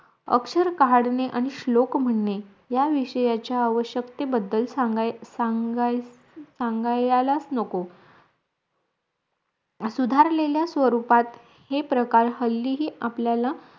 अक्षर काढणे आणि श्लोक म्हणणे या विषयचा आवश्यकते बद्धल सांग सांगायालास नको सुधारलेल्य स्वरूपात हे प्रकार हल्लीही आपल्याला